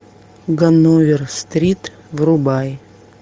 ганновер стрит врубай